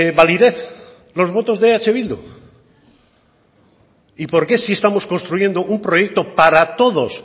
validez los votos de eh bildu y por qué si estamos un proyecto para todos